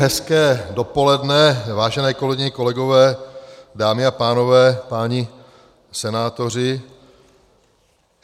Hezké dopoledne, vážené kolegyně, kolegové, dámy a pánové, páni senátoři.